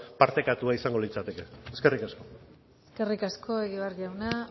partekatua izango litzateke eskerrik asko eskerrik asko egibar jauna